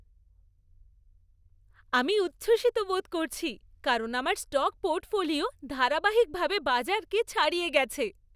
আমি উচ্ছ্বসিত বোধ করছি কারণ আমার স্টক পোর্টফোলিও ধারাবাহিকভাবে বাজারকে ছাড়িয়ে গেছে।